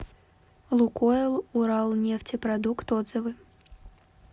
лукойл уралнефтепродукт отзывы